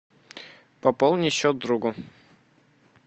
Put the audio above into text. пополни счет другу